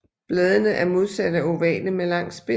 Bladene er modsatte og ovale med lang spids